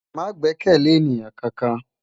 Má gbèkèlé éniyán kánkán